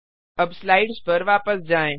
अब स्लाइड्स पर वापस जाएँ